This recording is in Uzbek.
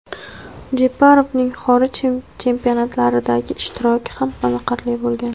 Jeparovning xorij chempionatlaridagi ishtiroki ham qoniqarli bo‘lgan.